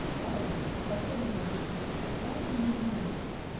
второе в доходной части бюджета ситуация не изменилась